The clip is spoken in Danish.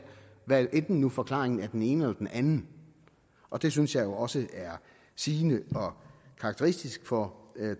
hvad enten forklaringen nu er den ene eller den anden og det synes jeg jo også er sigende og karakteristisk for